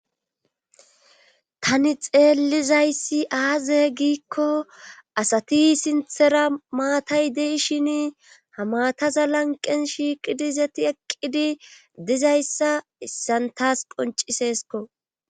Tani xeellizayssi aaze giikko asati sinthera maatay deishin ha maataza lanqen shiiqidizati eqqidi dizayssa issan taas qonciseesko.